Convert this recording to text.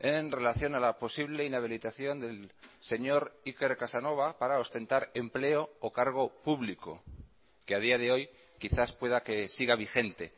en relación a la posible inhabilitación del señor iker casanova para ostentar empleo o cargo público que a día de hoy quizás pueda que siga vigente